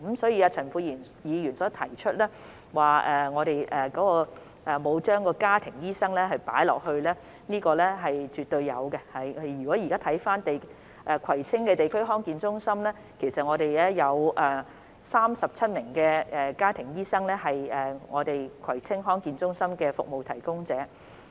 所以，陳沛然議員指我們沒有加入家庭醫生，這是絕對有的，現時葵青地區康健中心其實有37名家庭醫生，屬於該中心的服務提供者。